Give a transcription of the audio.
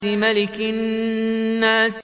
مَلِكِ النَّاسِ